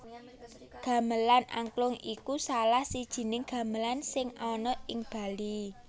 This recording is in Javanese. Gamelan Angklung iku salah sijining gamelan sing ana ing Bali